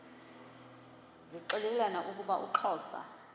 zixelelana ukuba uxhosa